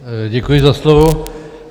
Děkuji za slovo.